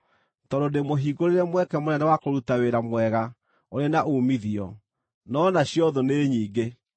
tondũ ndĩmũhingũrĩre mweke mũnene wa kũruta wĩra mwega ũrĩ na uumithio, no nacio thũ nĩ nyingĩ.